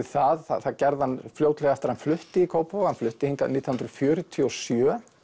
það það það gerði hann fljótlega eftir að hann flutti í Kópavog hann flutti hingað nítján hundruð fjörutíu og sjö